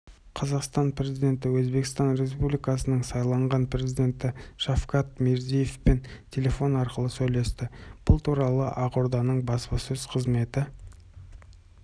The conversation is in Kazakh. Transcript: қазақстан президенті өзбекстан республикасының сайланған президенті шавкат мирзиевпен телефон арқылы сөйлесті бұл туралы ақорданың баспасөз қызметі